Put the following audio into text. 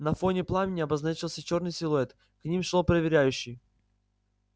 на фоне пламени обозначился чёрный силуэт к ним шёл проверяющий